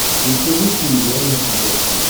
включи русский иллюзион на смотрешке